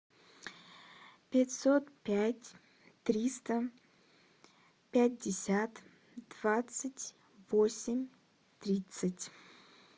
пятьсот пять триста пятьдесят двадцать восемь тридцать